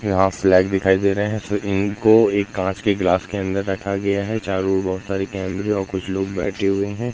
यहां फ्लैग दिखाई दे रहे हैं सो इनको एक कांच के ग्लास के अंदर रखा गया है चारों ओर बहोत सारे कैमरे और कुछ लोग बैठे हुए हैं।